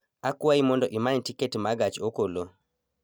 Akwayi mondo imany tiket ma gach okolo